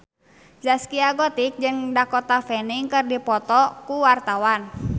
Zaskia Gotik jeung Dakota Fanning keur dipoto ku wartawan